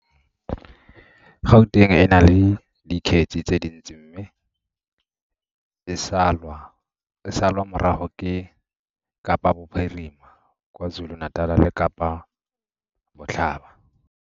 Gauteng e na le dikgetse tse dintsi mme e salwa morago ke Kapa Bophirima, KwaZuluNatal le Kapa Botlhaba.